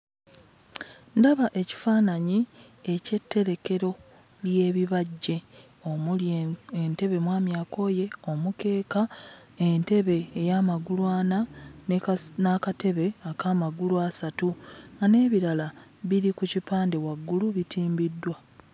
Ndaba ekifaananyi eky'etterekero ly'ebibajje, omuli entebe mwamyakooye, omukeeka, entebe ey'amagulu ana, ne kasi n'akatebe ak'amagulu asatu nga n'ebirala biri ku kipande waggulu bitimbiddwa.